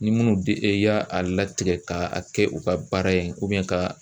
Ni minnu de e ya a latigɛ ka a kɛ u ka baara ye ka